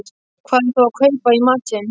Hvar á þá að kaupa í matinn?